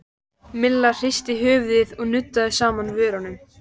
Milla hristi höfuðið og nuddaði saman vörunum.